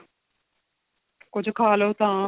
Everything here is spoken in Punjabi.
ਕੁੱਝ ਖਾ ਲੋ ਤਾਂ